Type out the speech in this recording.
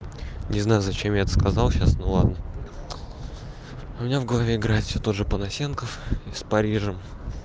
не знаю зачем я это сказал сейчас ну ладно у меня в голове играет всё тот же понасенков и с парижем